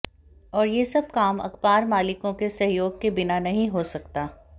और ये सब काम अखबार मालिकों के सहयोग के बिना नहीं हो सकता